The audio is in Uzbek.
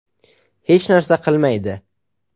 Hech narsa qilmaydi.